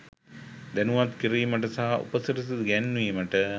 දැනුවත් කිරීමට සහ උපසිරැසි ගැන්වීමට.